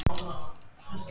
Alltaf þegar þau hittast